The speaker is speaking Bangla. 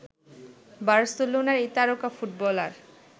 বার্সেলোনার এই তারকা ফুটবলার